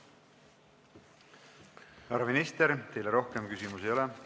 Härra minister, teile rohkem küsimusi ei ole.